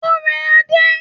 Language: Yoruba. Ó rẹ Adé.